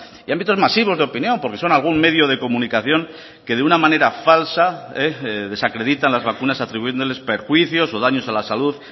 y ámbitos masivos de opinión porque son algún medio de comunicación que de una manera falsa desacreditan las vacunas atribuyéndoles perjuicios o daños a la salud